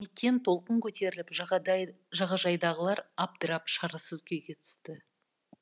кенеттен толқын көтеріліп жағажайдағылар абдырап шарасыз күйге түсті